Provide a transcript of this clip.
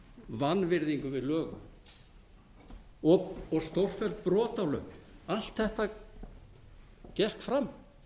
vanvirðingu við lög og stórfelld brotalöm allt þetta gekk fram